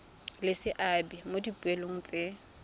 le seabe mo dipoelong tse